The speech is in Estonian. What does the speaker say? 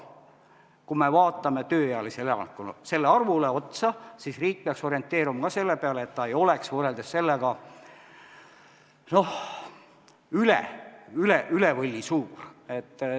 Kui me vaatame tööealise elanikkonna suurust, siis riik peaks orienteeruma ka selle järgi, et võrreldes sellega ei oleks see üle võlli suur.